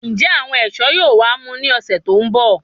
Njẹ àwọn ẹṣọ yóò wá mú ní ọsẹ tó n bọ